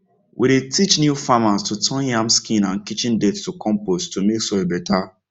we dey teach new farmers to turn yam skin and kitchen dirt to compost to make soil better